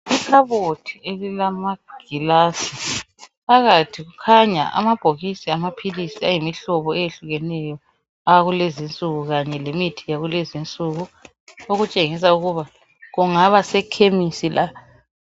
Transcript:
Ikhabothi elilama gilazi phakathi kukhanya amabhokisi amaphilisi ayimihlobo eyehlukeneyo awakulezinsuku kanye lemithi yakulezinsuku okutshengisa ukuba kungaba sekhemisi la.